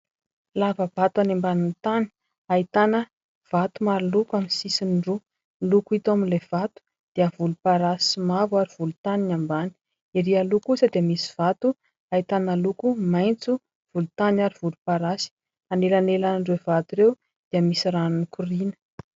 Lavabato any ambany tany ahitana vato maro loko amin'ny sisiny roa, ny loko hita ao amin'ny vato dia voloparasy sy mavo ary volontany ny ambany, ery aloha kosa dia misy vato ahitana loko maintso, volontany ary voloparasy anelanealan'ireo vato ireo dia misy rano mikorina.